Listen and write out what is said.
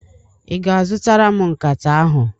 Ị ga-zụtara m nkata ahụ?